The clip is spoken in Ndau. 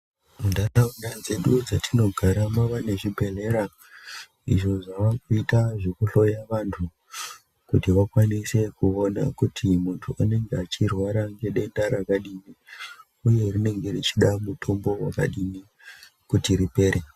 Mu ndaraunda dzedu dzatino gara mava ne zvibhedhlera izvo zvavakuita zveku hloya vantu kuti vakwanise kuona kuti muntu anenge achirwara ne denda rakadini uye rinenge richida mutombo wakadini kuti ripere.